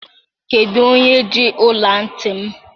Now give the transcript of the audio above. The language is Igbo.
Kedu onye ji ọla ntị m?